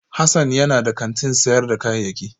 Hassan yana da kantin sayar da kayayyaki